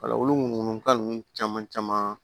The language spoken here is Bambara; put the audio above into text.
Wala olu ka nunnu caman caman